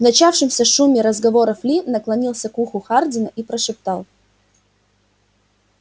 в начавшемся шуме разговоров ли наклонился к уху хардина и прошептал